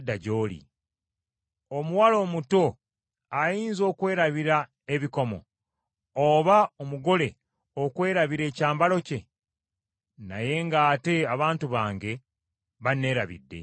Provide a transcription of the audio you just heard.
Omuwala omuto ayinza okwerabira ebikomo, oba omugole okwerabira ekyambalo kye? Naye ng’ate abantu bange Bannerabidde!